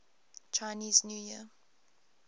chinese new year